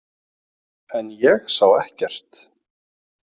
En ég sá ekkert.